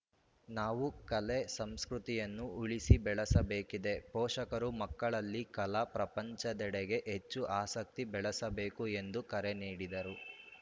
ನಾವು ಕಲೆ ಸಂಸ್ಕೃತಿಯನ್ನು ಉಳಿಸಿ ಬೆಳೆಸಬೇಕಿದೆ ಪೋಷಕರು ಮಕ್ಕಳಲ್ಲಿ ಕಲಾ ಪ್ರಪಂಚದೆಡೆಗೆ ಹೆಚ್ಚು ಆಸಕ್ತಿ ಬೆಳೆಸಬೇಕು ಎಂದು ಕರೆ ನೀಡಿದರು